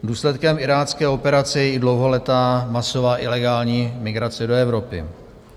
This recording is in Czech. Důsledkem irácké operace je i dlouholetá masová ilegální migrace do Evropy.